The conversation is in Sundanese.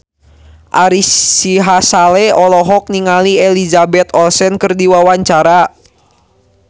Ari Sihasale olohok ningali Elizabeth Olsen keur diwawancara